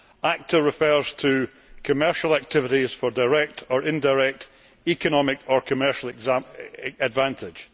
ACTA refers to commercial activities for direct or indirect economic or commercial advantage'.